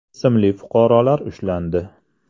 ismli fuqarolar ushlandi.